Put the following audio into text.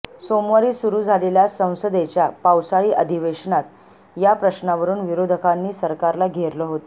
सोमवारी सुरू झालेल्या संसदेच्या पावसाळी अधिवेशनात या प्रश्नावरून विरोधकांनी सरकारला घेरलं होतं